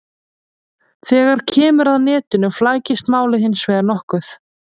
Þegar kemur að netinu flækist málið hins vegar nokkuð.